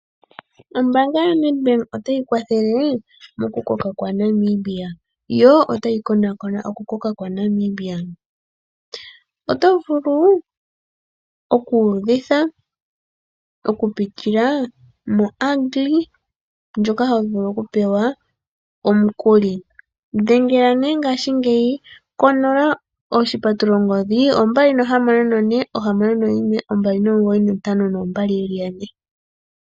Ombaanga yoNEDBANK otayi kwathele moku koka kwaNamibia. Yo otayi konakona oku koka kwaNamibia. Oto vulu oku uvitha, oku pitila moagri-loan ndjoka ho vulu oku pewa omukuli. Dhengela nee ngaashingeyi konola oshipatululongodhi 26461 2952222.